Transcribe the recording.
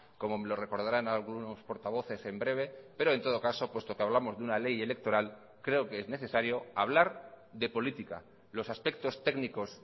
como me lo recordarán algunos portavoces en breve pero en todo caso puesto que hablamos de una ley electoral creo que es necesario hablar de política los aspectos técnicos